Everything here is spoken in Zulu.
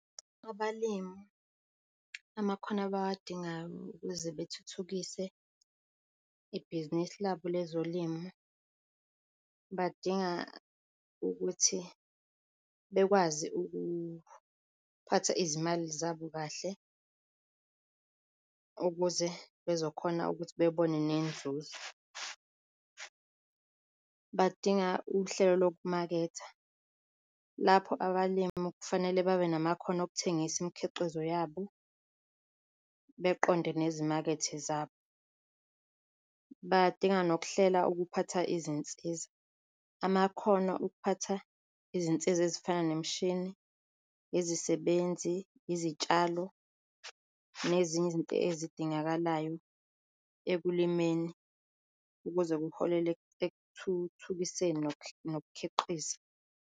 Abalimu amakhono abawadingayo ukuze bethuthukise ibhizinisi labo lezolimo, badinga ukuthi bekwazi ukuphatha izimali zabo kahle ukuze bezokhona ukuthi bebone nenzuzo. Badinga uhlelo lokumaketha lapho abalimi kufanele babe namakhono okuthengisa imikhiqizo yabo beqonde nezimakethe zabo. Badinga nokuhlela ukuphatha izinsiza, amakhono okuphatha izinsiza ezifana nemishini, izisebenzi, yizitshalo nezinye izinto ezidingakalayo ekulimeni ukuze kuholele ekuthuthukiseni nokukhiqiza.